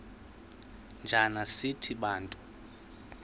njana sithi bantu